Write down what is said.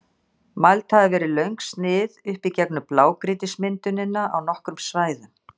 Mæld hafa verið löng snið upp í gegnum blágrýtismyndunina á nokkrum svæðum.